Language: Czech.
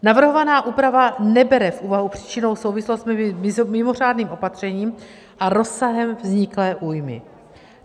Navrhovaná úprava nebere v úvahu příčinnou souvislost mezi mimořádným opatřením a rozsahem vzniklé újmy.